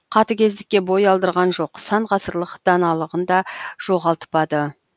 қатыгездікке бой алдырған жоқ сан ғасырлық даналығын да жоғалтпады